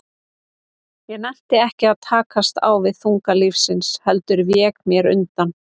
Ég nennti ekki að takast á við þunga lífsins, heldur vék mér undan.